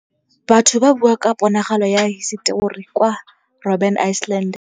Batho ba bua ka ponagalô ya hisetori kwa Robin Island.